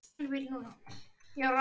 hélt hún áfram.